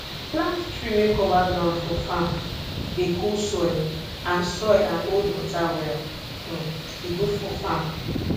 plant tree wey cover ground for farm dey cool soil and soil and hold water well e good for farm